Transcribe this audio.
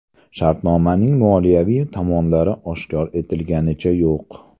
Shartnomaning moliyaviy tomonlari oshkor etliganicha yo‘q.